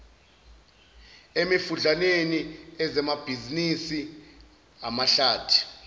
emifudlaneni ezamabhizinisi amahlathi